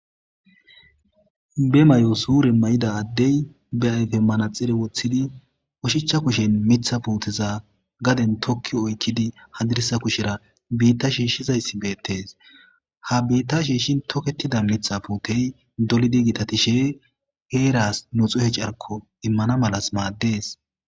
be may7o suure may7ida addey be ayfe manaxire woththidi ushichcha kushen mitha puuteza gaden tokki oykkidi hadirisa kushera biitta shiishshizayssi beettes ha biitta shiishshin toketida nitha puutey dolidi gitatishe heeras nu xuhe carko immana malas maaddees